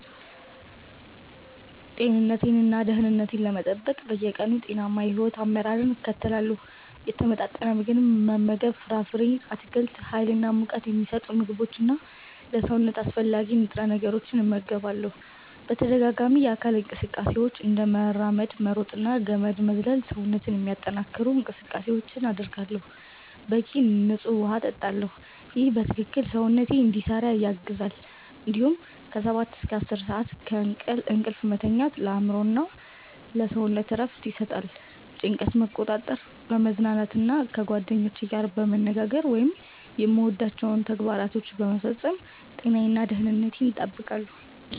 ጤንነቴን እና ደህንነቴን ለመጠበቅ በየቀኑ ጤናማ የሕይወት አመራር እከተላለሁ። የተመጣጠነ ምግብ መመገብ ፍራፍሬ፣ አትክልት፣ ሀይል እና ሙቀት ሚሰጡ ምግቦች እና ለሰውነት አስፈላጊ ንጥረ ነገሮችን እመገባለሁ። በተደጋጋሚ የአካል እንቅስቃሴዎች፤ እንደ መራመድ፣ መሮጥ እና ገመድ መዝለል ሰውነትን የሚያጠነክሩ እንቅስቃሴዎችን አደርጋለሁ። በቂ ንፁህ ውሃ እጠጣለሁ ይህ በትክክል ሰውነትን እንዲሰራ ያግዛል እንዲሁም ከ 7–9 ሰዓት እንቅልፍ መተኛት ለአእምሮ እና ለሰውነት እረፍት ይሰጣል። ጭንቀትን መቆጣጠር፣ በመዝናናት እና ከጓደኞቼ ጋር በመነጋገር ወይም የምወዳቸውን ተግባራት በመፈጸም ጤናዬን እና ደህንነቴን እጠብቃለሁ።